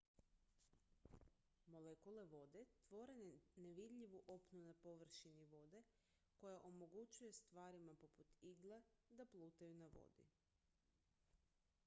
molekule vode tvore nevidljivu opnu na površini vode koja omogućuje stvarima poput igle da plutaju na vodi